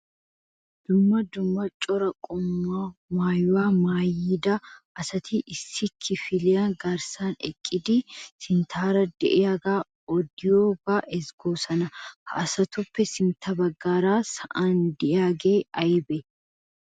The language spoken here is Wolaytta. Dumma dumma cora qommo maayiwa maayida asati issi kifiliya garssan eqqidi sinttaara de'iyaage odiyooga ezggoosona. Ha asatuppe sintta baggaara sa'an de'iyaage aybbe?